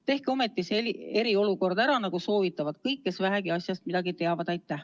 Tehke ometi see eriolukord ära, nagu soovitavad kõik, kes vähegi asjast midagi teavad!